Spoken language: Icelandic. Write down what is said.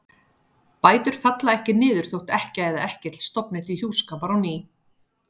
Bætur falla ekki niður þótt ekkja eða ekkill stofni til hjúskapar á ný.